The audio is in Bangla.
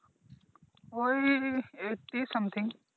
ওই Eighty something